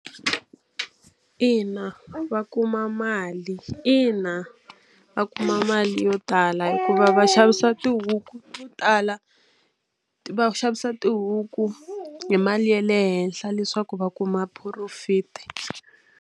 Ina, va kuma mali ina va kuma mali yo tala hikuva va xavisa tihuku to tala va xavisa tihuku hi mali ya le henhla leswaku va kuma profit.